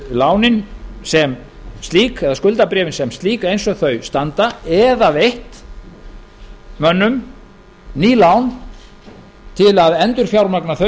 lánin sem slík eða skuldabréfin sem slík eins og þau standa eða veitt mönnum ný lán til að endurfjármagna þau